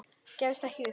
Gefstu ekki upp.